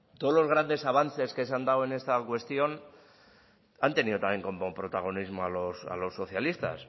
todos los grandes avances que se han dado en esta cuestión han tenido también con protagonismo a los socialistas